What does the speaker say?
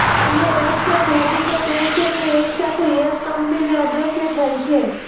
અન્ય રસપ્રદ હકીકત એ છે કે એકસાથે યશ કંપની અદ્રશ્ય થઇ છે